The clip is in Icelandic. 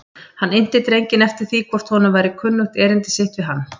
Hann innti drenginn eftir því hvort honum væri kunnugt erindi sitt við hann.